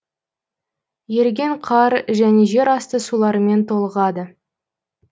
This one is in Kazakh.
еріген қар және жер асты суларымен толығады